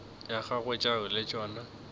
tša gagwe tšeo le tšona